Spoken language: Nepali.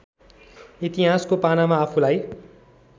इतिहासको पानामा आफूलाई